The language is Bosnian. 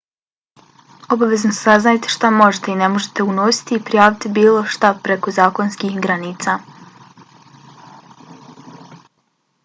obavezno saznajte šta možete i ne možete unositi i prijavite bilo šta preko zakonskih granica